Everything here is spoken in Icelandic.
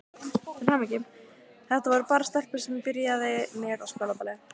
Þetta voru bara stelpur sem ég byrjaði með á skólaballi.